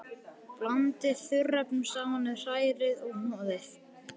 Blandið þurrefnunum saman við, hrærið og hnoðið.